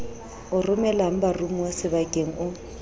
o romelang baromuwa sebokeng o